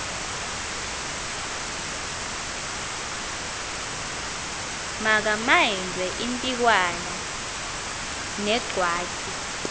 magamaindwe impikwana negwatyu